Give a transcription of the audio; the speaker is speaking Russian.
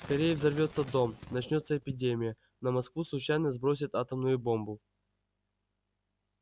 скорее взорвётся дом начнётся эпидемия на москву случайно сбросят атомную бомбу